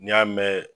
N'i y'a mɛn